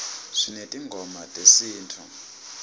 sinetingoma tesinifu